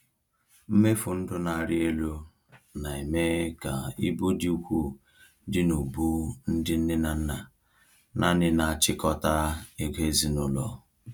Mmefu ndụ na-arị elu na-eme ka ibu dị ukwuu dị n’ubu ndị nne na nna nanị na-achịkọta ego n’ezinụlọ.